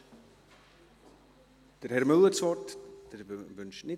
Wünscht Herr Müller, der Vorsitzende der Justizleitung, das Wort?